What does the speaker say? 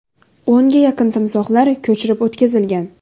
O‘nga yaqin timsohlar ko‘chirib o‘tkazilgan.